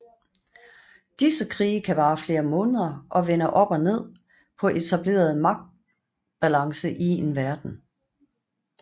Disse krige kan vare flere måneder og vende op og ned på etablerede magt balance i en verden